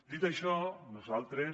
dit això nosaltres